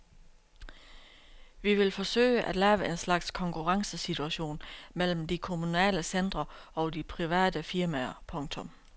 Vi vil forsøge at lave en slags konkurrencesituation mellem de kommunale centre og de private firmaer. punktum